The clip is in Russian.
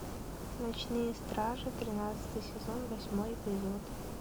ночные стражи тринадцатый сезон восьмой эпизод